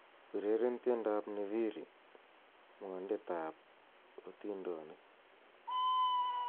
ureren tiendab nviiri mwondetab otindonik